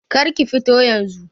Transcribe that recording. Kar ki fito yanzun.